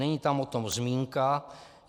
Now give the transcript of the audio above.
Není tam o tom zmínka.